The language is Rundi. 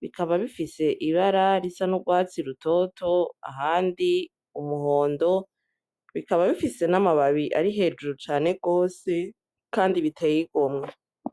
bikaba bifise ibara risa n'urwatsi rutoto ahandi umuhondo, bikaba bifise n'amababi ari hejuru cane rwose, kandi biteye igomwe.